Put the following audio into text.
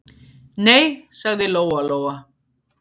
Nei, sagði Lóa-Lóa.